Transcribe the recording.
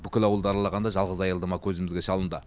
бүкіл ауылды аралағанда жалғыз аялдама көзімізге шалынды